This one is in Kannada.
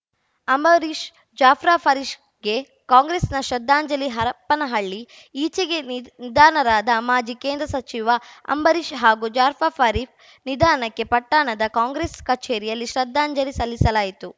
ಅಂಬರೀಷ್‌ ಜಾಫ್ರಾ ಫರೀಶ್ ಗೆ ಕಾಂಗ್ರೆಸ್‌ ನ ಶ್ರದ್ಧಾಂಜಲಿ ಹರಪನಹಳ್ಳಿ ಈಚೆಗೆ ನಿಧನರಾದ ಮಾಜಿ ಕೇಂದ್ರ ಸಚಿವ ಅಂಬರೀಶ್‌ ಹಾಗೂ ಜಾಫ್ರ ಫರೀ ನಿಧನಕ್ಕೆ ಪಟ್ಟಣದ ಕಾಂಗ್ರೆಸ್‌ ಕಚೇರಿಯಲ್ಲಿ ಶ್ರದ್ಧಾಂಜಲಿ ಸಲ್ಲಿಸಲಾಯಿತು